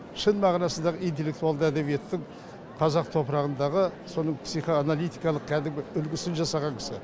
шын мағынасындағы интеллектуалды әдебиеттің қазақ топырағындағы соның психоаналитикалық кәдімгі үлгісін жасаған кісі